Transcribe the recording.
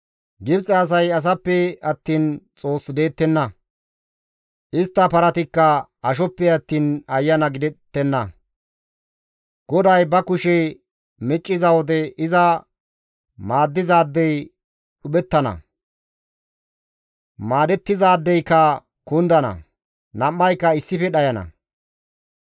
Gibxe asay asappe attiin Xoos deettenna; istta paratikka ashoppe attiin ayana gidettenna. GODAY ba kushe micciza wode iza maaddizaadey dhuphettana; maadettizaadeyka kundana; nam7ayka issife dhayana.